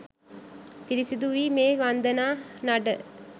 පිරිසිඳුවී මේ වන්දනා නඩ